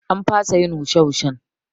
An fasa yin wushe wushen